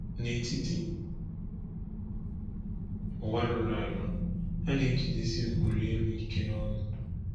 N’etiti ụwa rụrụ arụ, ha na-ejidesi ụkpụrụ elu ike n’ọṅụ.